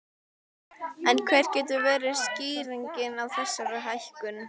En hver getur verið skýringin á þessari hækkun?